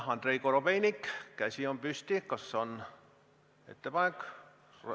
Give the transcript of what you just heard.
Andrei Korobeinikul on käsi püsti, kas on ettepanek või küsimus?